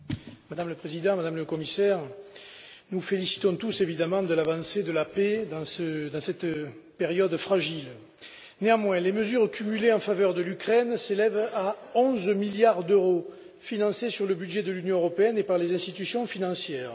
Madame la Présidente, Madame la Commissaire, nous nous félicitons tous de l'avancée de la paix dans cette période fragile. Néanmoins, les mesures cumulées en faveur de l'Ukraine s'élèvent à 11 milliards d'euros, financées sur le budget de l'Union européenne et par les institutions financières.